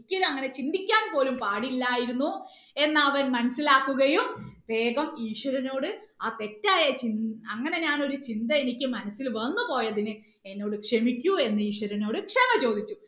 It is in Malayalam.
ഒരിക്കലും അങ്ങനെ ചിന്തിക്കാൻ പോലും പാടില്ലായിരുന്നു എന്ന് അവൻ മനസ്സിലാക്കുകയും വേഗം ഈശ്വരനോട് ആ തെറ്റായ ചിന്ത അങ്ങനെ ഞാൻ ഒരു ചിന്ത എനിക്ക് മനസ്സിൽ വന്നുപോയതിന് എന്നോട് ക്ഷമിക്കൂ എന്ന് ഈശ്വരനോട് ക്ഷമ ചോദിച്ചു